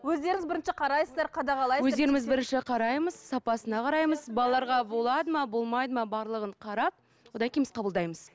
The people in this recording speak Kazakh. өздеріңіздер бірінші қарайсыздар қадағалайсыздар өздеріміз бірінші қараймыз сапасына қараймыз балаларға болады ма болмайды ма барлығын қарап одан кейін біз қабылдаймыз